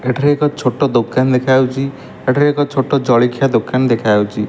ଏଠାରେ ଏକ ଛୋଟ ଦୋକାନ ଦେଖାଯାଉଚି। ଏଠାରେ ଏକ ଛୋଟ ଜଳିଖିଆ ଦୋକାନ ଦେଖାଯାଉଚି।